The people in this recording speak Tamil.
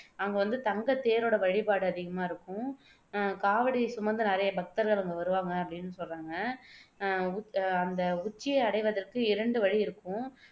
அங்கவந்து தங்கத்தேரோட வழிபாடு அதிகமா இருக்கும் அஹ் காவடி சுமந்து நிறைய பக்தர்கள் அங்க வருவாங்க அப்படின்னு சொல்றாங்க அஹ் உ அந்த உச்சியை அடைவதற்கு இரண்டு வழி இருக்கும்